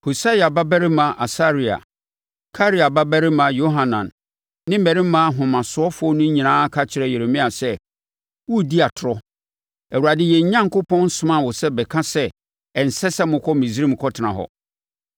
Hosaia babarima Asaria, Karea babarima Yohanan ne mmarima ahomasofoɔ no nyinaa ka kyerɛɛ Yeremia sɛ, “Woredi atorɔ! Awurade yɛn Onyankopɔn nsomaa wo sɛ bɛka sɛ, ‘Ɛnsɛ sɛ mokɔ Misraim kɔtena hɔ.’